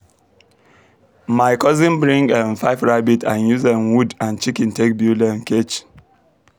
my cousin bring um five rabbit and use um wood and chiken take build um cage